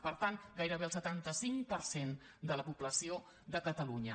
per tant gairebé el setanta cinc per cent de la població de catalunya